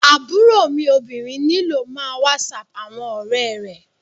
Aburo mi obinrin nilo má whatsap awọn ọrẹ rẹ